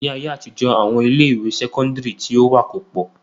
Ni ayé àtijọ́, àwọn ilé ìwé sẹ́kọ́ńdírì tí ó wà kò pọ̀.